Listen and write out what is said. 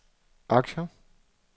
aktier